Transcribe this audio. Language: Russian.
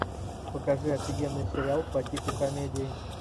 покажи офигенный сериал по типу комедии